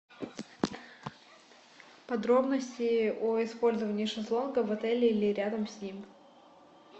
подробности о использовании шезлонга в отеле или рядом с ним